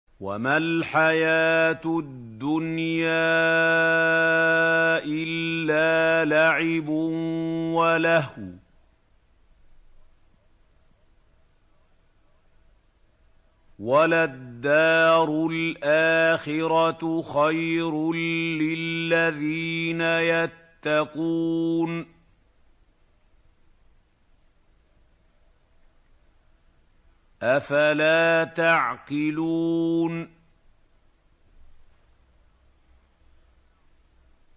وَمَا الْحَيَاةُ الدُّنْيَا إِلَّا لَعِبٌ وَلَهْوٌ ۖ وَلَلدَّارُ الْآخِرَةُ خَيْرٌ لِّلَّذِينَ يَتَّقُونَ ۗ أَفَلَا تَعْقِلُونَ